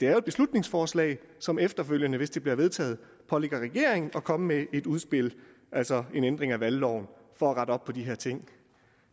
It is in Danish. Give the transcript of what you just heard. er et beslutningsforslag som efterfølgende hvis det bliver vedtaget pålægger regeringen at komme med et udspil altså en ændring af valgloven for at rette op på de her ting